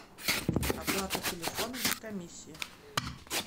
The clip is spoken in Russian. оплата телефона без комиссии